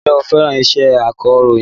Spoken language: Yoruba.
Ǹjẹ́ o fẹ́ràn iṣẹ́ akọ̀rọ̀yìn?